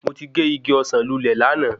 Mo ti gé igi ọsán lulè láàná